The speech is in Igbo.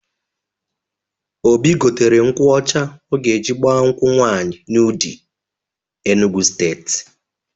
Obi gotere nkwụ ọcha ọ ga-eji gbaa nkwụ nwaanyị n'Udi, Enugwu Steeti.